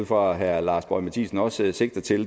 fra at herre lars boje mathiesen også sigter til